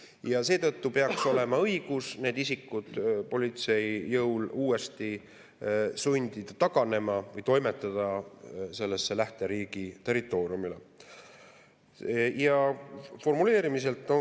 Ja seetõttu peaks olema õigus need isikud politsei jõul sundida taganema või toimetada nad lähteriigi territooriumile.